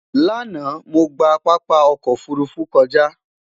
lànà, mọ gbà pápá ọkọ òfurufú kọja